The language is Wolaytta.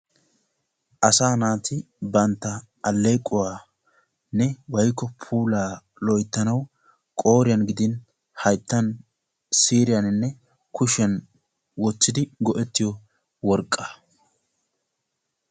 assanaati bantta puulaa loyttanaw qooriyan gidi hyttan siiriyan wottidi go"ettiyo worqqa.